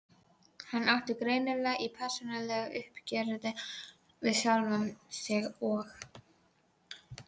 Hann átti greinilega í persónulegu uppgjöri við sjálfan sig og